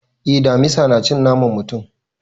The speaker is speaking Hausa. Eh, damisa na cin naman mutum.